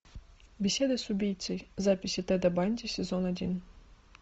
беседы с убийцей записи теда банди сезон один